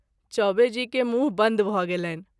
चौबे जी के मुँह बन्द भ’ गेलनि।